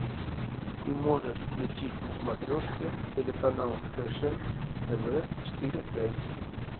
ты можешь включить на смотрешке телеканал фэшен тв четыре к